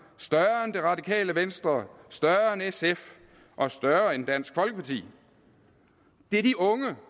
større end det radikale venstre større end sf og større end dansk folkeparti det er de unge der